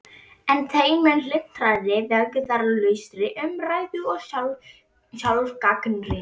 En þeim mun hlynntari vægðarlausri umræðu og sjálfsgagnrýni.